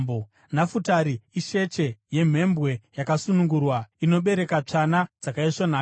“Nafutari isheche yemhembwe yakasunungurwa, inobereka tsvana dzakaisvonaka.